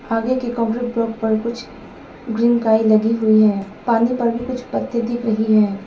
आगे की concrete block पर कुछ ग्रीन काई लगी हुई है पानी पर भी कुछ पत्ते दिख रही हैं।